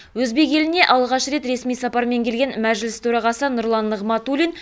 өзбек еліне алғаш рет ресми сапармен келген мәжіліс төрағасы нұрлан нығматулин